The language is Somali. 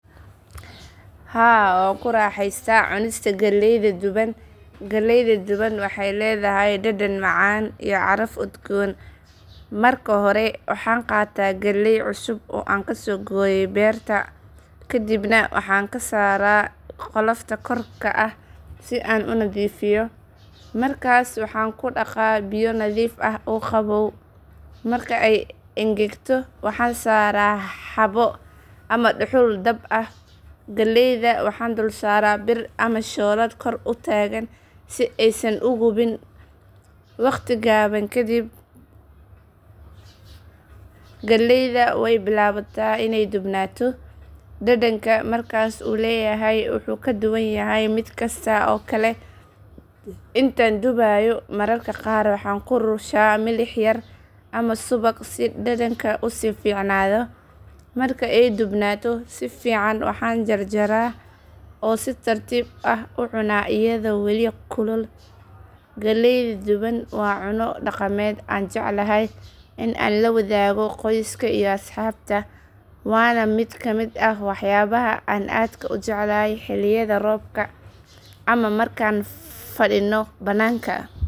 Haa waan ku raaxaystaa cunista galleyda duban. Galleeyda duban waxay leedahay dhadhan macaan iyo caraf udgoon. Marka hore waxaan qaataa galleey cusub oo aan ka soo gooyay beerta. Kadibna waxaan ka saaraa qolofta korka ka ah si aan u nadiifiyo. Markaas waxaan ku dhaqaa biyo nadiif ah oo qabow. Marka ay engegto waxaan saaraa xaabo ama dhuxul dab ah. Galleeyda waxaan dul saaraa bir ama shoolad kor u taagan si aysan u gubin. Waqti gaaban ka dib galleeyda way bilaabataa inay dubnaato, dhadhanka markaas uu leeyahay wuu ka duwan yahay mid kasta oo kale. Intaan dubayo mararka qaar waxaan ku rushaa milix yar ama subag si dhadhanka u sii fiicnaado. Marka ay dubnaato si fiican waxaan jarjaraa oo si tartiib ah u cunaa iyadoo weli kulul. Galleeyda duban waa cunno dhaqameed aan jeclahay in aan la wadaago qoyska iyo asxaabta, waana mid ka mid ah waxyaabaha aan aadka u jeclahay xilliyada roobka ama markaan fadhino bannaanka.